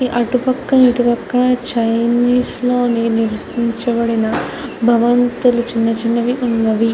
అటుపక్క ఇటుపక్క చైనీస్ లో నిర్మించబడిన చిన్న చిన్న భవంతులు ఉన్నవి.